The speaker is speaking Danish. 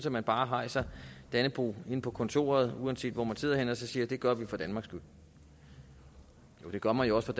at man bare hejser dannebrog inde på kontoret uanset hvor man sidder henne og så siger at det gør vi for danmarks skyld det gør man jo også